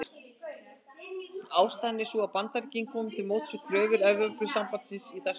Ástæðan er sú að Bandaríkin komu til móts við kröfur Evrópusambandsins í þessum efnum.